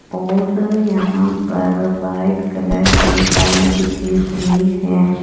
और यहां पर व्हाइट कलर के टाइल बिछी हुई है।